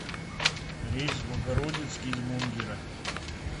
рейс в богородицк из мунгера